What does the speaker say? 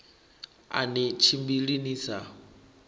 a ni tshimbili ni sa